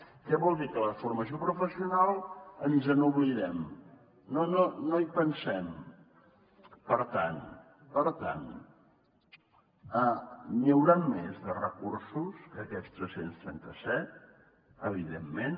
què vol dir que de la formació professional ens n’oblidem no hi pensem per tant per tant n’hi hauran més de recursos que aquests tres cents i trenta set evidentment